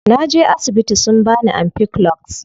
Naje asibiti sun bani ampiclox.